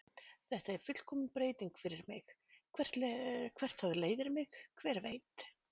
Þetta er fullkomin breyting fyrir mig, hvert það leiðir mig, hver veit?